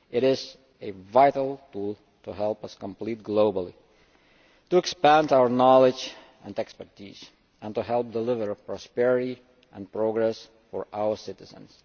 It is a vital tool to help us compete globally, to expand our knowledge and expertise, and to help deliver prosperity and progress for our citizens.